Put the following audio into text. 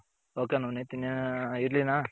ok Navneet ಇರ್ಲಿನ .